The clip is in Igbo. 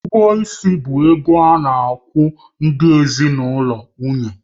Ụgwọ ịsị bụ ego a na-akwụ ndị ezinụlọ nwunye